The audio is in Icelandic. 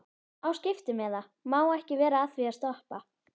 Á skiptimiða, má ekki vera að því að stoppa.